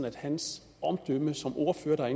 at hans omdømme som ordfører er